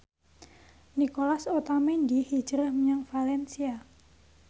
Nicolas Otamendi hijrah menyang valencia